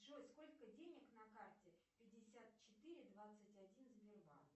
джой сколько денег на карте пятьдесят четыре двадцать один сбербанк